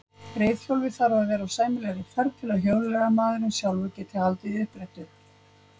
Reiðhjólið þarf að vera á sæmilegri ferð til að hjólreiðamaðurinn sjálfur geti haldið því uppréttu.